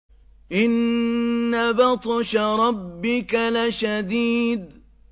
إِنَّ بَطْشَ رَبِّكَ لَشَدِيدٌ